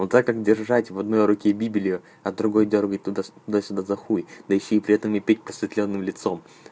но так как держать в одной руке библию а другой дёргать туда с да сюда за хуй да ещё и при этом и петь просветлённым лицом